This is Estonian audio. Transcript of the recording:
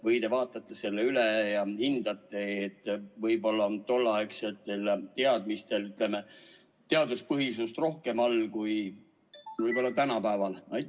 Või te vaatate selle üle ja hindate, et võib-olla on tolleaegsetel teadmistel teaduspõhisust rohkem all kui tänapäeval?